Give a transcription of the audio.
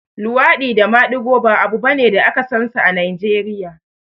luwaɗi da maɗigo ba abu bane da aka sansa a Najeriya